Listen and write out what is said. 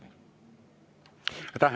Aitäh!